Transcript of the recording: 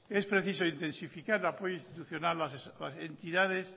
es preciso intensificar el apoyo institucional a las entidades